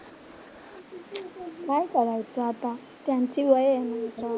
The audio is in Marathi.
काय करायचं आता? त्यांची वय आहे ना आता.